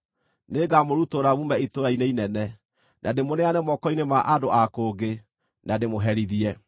Nĩngamũrutũrũra muume itũũra-inĩ inene, na ndĩmũneane moko-inĩ ma andũ a kũngĩ, na ndĩmũherithie.